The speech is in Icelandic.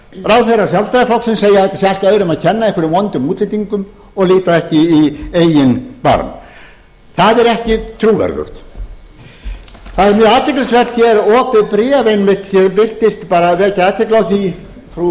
ráðherrar sjálfstæðisflokksins segja að þetta sé allt öðrum að kenna einhverjum vondum útlendingum og líta ekki í eigin barm það er ekki trúverðugt það er mjög athyglisvert hér opið bréf einmitt sem birtist bara vekja athygli á því frú